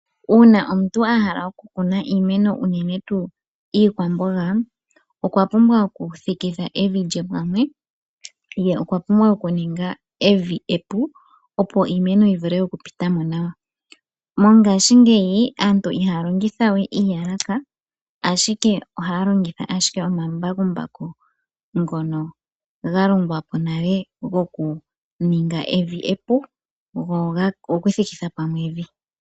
Uuna omuntu ahala oku kuna iimeno uunene tuu iikwamboga, okwa pumbwa oku thikitha evi lye pamwe Ye okwa pumbwa oku ninga evi epu, opo iimeno yi vule oku pita mo nawa, mongaashingeyi aantu ihaya longitha we iiyalaka ashike ohaya longitha ombambakumbaku ngono ga longwa po gokuninga evi epu gokuthikitha pamwe evi.